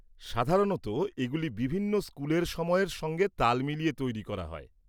সাধারণত এগুলি বিভিন্ন স্কুলের সময়ের সঙ্গে তাল মিলিয়ে তৈরি করা হয়।